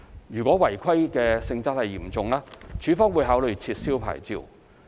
若違規性質嚴重，署方會考慮撤銷牌照。